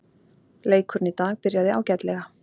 Leikurinn í dag byrjaði ágætlega.